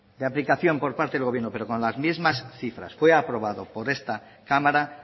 de aplicación por parte del gobierno pero con las mismas cifras fue aprobado por esta cámara